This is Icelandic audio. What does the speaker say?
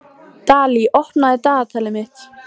Dalí, opnaðu dagatalið mitt.